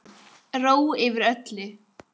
Ró yfir öllu.